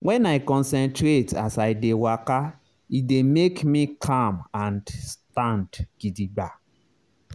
when i concentrate as i dey waka e dey make me calm and stand gidigba.